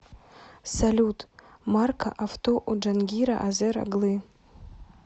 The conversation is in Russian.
салют марка авто у джангира азер оглы